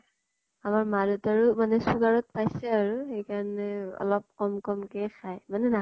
আমাৰ মা দেউতাৰো sugar ত পাইছে আৰু হেই কাৰণে আৰু অলপ কম কম কে খায়। মানে না